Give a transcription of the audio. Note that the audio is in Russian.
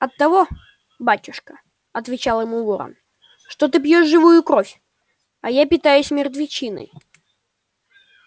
оттого батюшка отвечал ему ворон что ты пьёшь живую кровь а я питаюсь мертвечиной